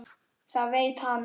Það veit hann.